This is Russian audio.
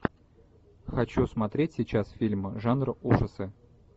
хочу смотреть сейчас фильм жанр ужасы